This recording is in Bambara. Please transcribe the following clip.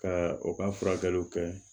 Ka u ka furakɛliw kɛ